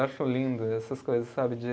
Eu acho lindo essas coisas, sabe? de